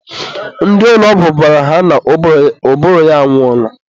ndị ụlọ ọgwụ gwara ha na ụbụrụ ya anwụọla.